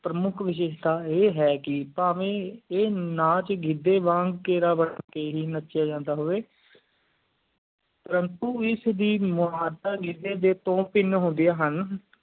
ਪ੍ਰਮੁਖ ਵਿਜਿਸਤਾ ਆ ਹੈ ਕ ਪਾਵਈ ਆ ਨਾਚ ਗਿੱਦਯ ਵਾਂਗ ਪ੍ਰਾਨਤੋ ਇਸ ਦੀ ਮੁਡ਼ ਦੋ ਤਿਨ ਹੁੰਦੈ ਹਨ